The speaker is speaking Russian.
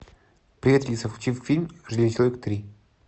привет алиса включи фильм железный человек три